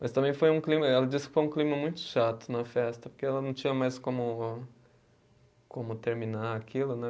Mas também foi um clima, ela disse que foi um clima muito chato na festa, porque ela não tinha mais como como terminar aquilo, né?